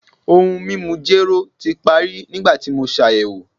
Ohun mimu jero ti pari nigbati mo ṣayẹwo